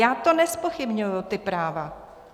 Já to nezpochybňuji, ta práva.